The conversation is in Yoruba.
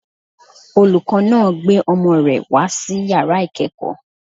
Olùkọ́ náà gbé ọmọ rẹ̀ wá sí yàrá ìkẹ́kọ̀ọ́